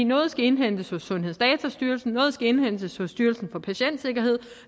noget skal indhentes hos sundhedsdatastyrelsen noget skal indhentes hos styrelsen for patientsikkerhed